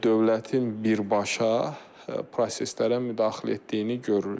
Dövlətin birbaşa proseslərə müdaxilə etdiyini görürük.